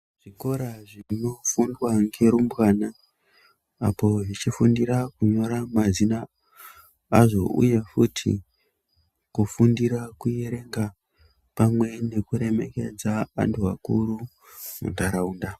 Zvikora zvinofundwa ngerumbwana apo zvichifundira kunyora mazina azvo uye futi kufundira kuerenga pamwe nekuremekedza antu akuru muntaraunda.